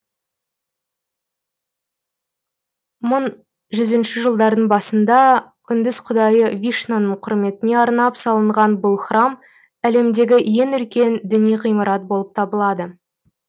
мың жүзінші жылдардың басында үндіс құдайы вишнаның құрметіне арнап салынған бұл храм әлеммдегі ең үлкен діни ғимарат болып табылады